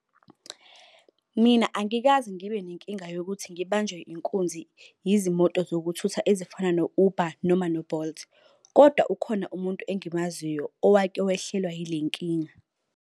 Mina angikaze ngibe nenkinga yokuthi ngibanjwe inkunzi yizimoto zokuthutha ezifana no-Uber noma no-Bolt. Kodwa ukhona umuntu engimaziyo owake wehlelwa yile nkinga.